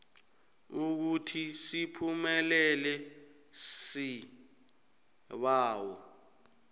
ukuthi siphumelele isibawo